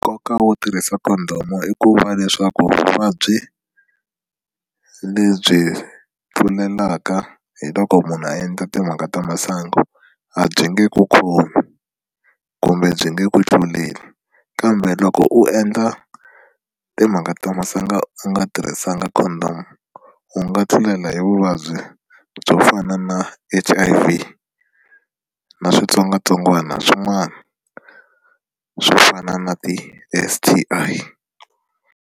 Nkoka wo tirhisa Condom i ku va leswaku vuvabyi lebyi tlulelaka hi loko munhu a endla timhaka ta masangu a byi nge ku khomi kumbe byi nge ku tluleli kambe loko u endla timhaka ta masangu u nga tirhisanga Condom u nga tlulela hi vuvabyi byo fana na H_I_V na switsongwatsongwana swin'wana swo fana na ti-S_T_I.